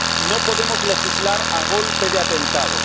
No podemos legislar a golpe de atentado.